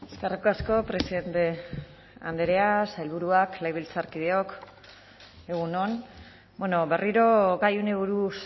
eskerrik asko presidente andrea sailburuak legebiltzarkideok egun on berriro gai honi buruz